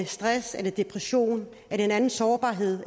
stress depression eller en anden sårbarhed